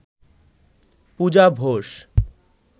Puja Bose